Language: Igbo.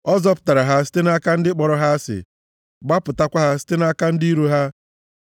Ọ zọpụtara ha site nʼaka ndị kpọrọ ha asị; gbapụtakwa ha site nʼaka ndị iro ha.